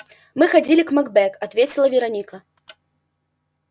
мы ходили к макбек ответила вероника